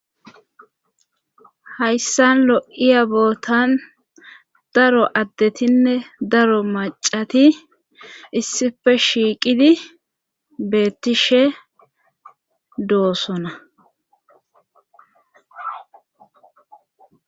hayssan lo7iya bootan daro addetinne daro macati issife shiiqidi beettishe doosona